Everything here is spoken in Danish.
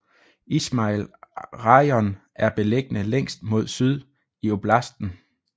Izmajil rajon er beliggende længst mod syd i oblasten